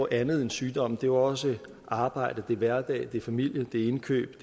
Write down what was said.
andet end sygdom det er også arbejde hverdag familie indkøb